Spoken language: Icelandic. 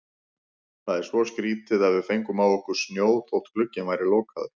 Það er svo skrýtið að við fengum á okkur snjó þótt glugginn væri lokaður.